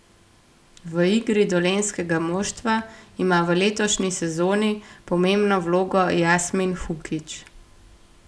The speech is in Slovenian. V igri dolenjskega moštva ima v letošnji sezoni pomembno vlogo Jasmin Hukić.